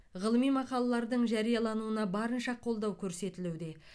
ғылыми мақалалардың жариялануына барынша қолдау көрсетілуде